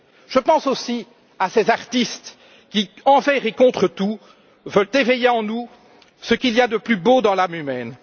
Je pense aussi à ces artistes qui envers et contre tout veulent éveiller en nous ce qu'il y a de plus beau dans l'âme humaine.